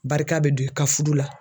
Barika bɛ don i ka furu la